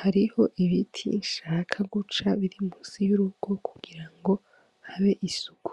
Hariho ibiti nshaka guca biri musi y'urugo kugira ngo habe isuku,